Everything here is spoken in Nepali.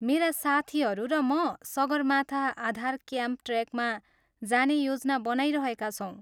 मेरा साथीहरू र म सगरमाथा आधार क्याम्प ट्रेकमा जाने योजना बनाइरहेका छौँ।